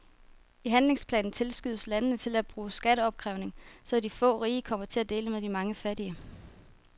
I handlingsplanen tilskyndes landene til at bruge skatteopkrævning, så de få rige kommer til at dele med de mange fattige.